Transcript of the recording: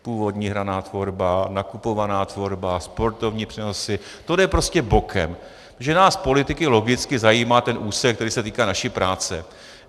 Původní hraná tvorba, nakupovaná tvorba, sportovní přenosy - to jde prostě bokem, protože nás politiky logicky zajímá ten úsek, který se týká naší práce.